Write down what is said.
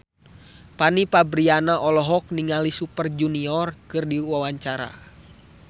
Fanny Fabriana olohok ningali Super Junior keur diwawancara